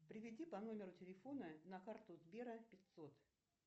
переведи по номеру телефона на карту сбера пятьсот